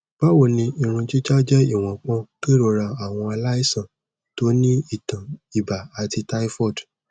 bawoni irun jija jẹ́ iwọnpọ kerora awọn alaisan to ni itan iba tabi typhoid